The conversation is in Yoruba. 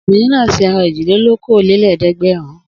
Obìnrin náà se ẹran èjìlélókòólélẹ́ẹ̀dẹ́gbẹ̀rún.